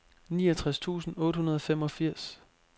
niogtres tusind otte hundrede og femogfirs